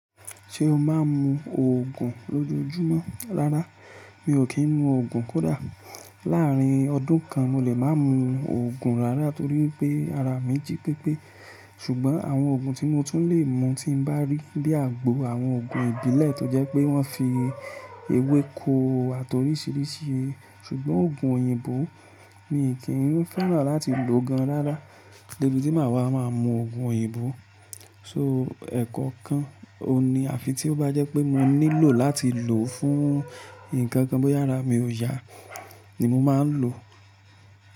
Ṣé o máa ń mu òògùn lójoojúmọ́? Rárá, mi ò kí ń mu òògùn kódà láàárín ọdún kan mo lè máa mu òògùn rárá torí pé ara mi jí pépé. Ṣùgbọ́n àwọn òògùn tí mo tún lè mu tí bá rí lé àgbo àwọn òògùn ìbílẹ̀ tó jẹ́ pé wọ́n fi ewéko àti oríṣiríṣi. Ṣùgbọ́n òògùn òyìnbó mi kì í fẹ́ràn láti lò gan rárá. Dẹ́bi tí màá wá, màá mu òògùn òyìnbó. So ẹ̀kọokan ò ní àfi tí ó bá jẹ́ pé mo nílò láti lò fún nnkan kan bóyá ara mi ò yá ni mo máa ń lò.